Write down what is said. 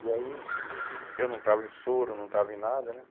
E aí, eu não estava em soro, não estava em nada, né?